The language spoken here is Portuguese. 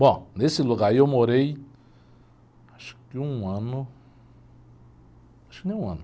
Bom, nesse lugar aí eu morei acho que um ano, acho que nem um ano.